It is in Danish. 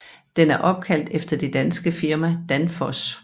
Den er opkaldt efter det danske firma Danfoss